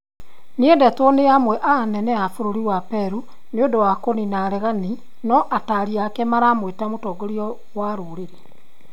Nĩendetwo nĩ amwe a anene a bũrũri wa Peru nĩũndũ wa kũnina areganĩ no ataari ake maramwĩta mũtongoria wa rũrĩrĩ